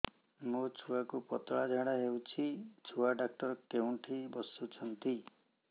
ମୋ ଛୁଆକୁ ପତଳା ଝାଡ଼ା ହେଉଛି ଛୁଆ ଡକ୍ଟର କେଉଁଠି ବସୁଛନ୍ତି